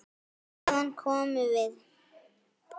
Hvaðan komum við?